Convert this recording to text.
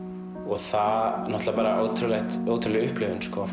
það var náttúrulega bara ótrúleg ótrúleg upplifun